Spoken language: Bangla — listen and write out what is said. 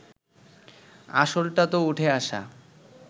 আসলটা তো উঠে আসা